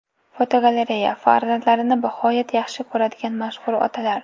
Fotogalereya: Farzandlarini bag‘oyat yaxshi ko‘radigan mashhur otalar.